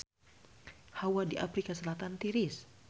Hawa di Afrika Selatan tiris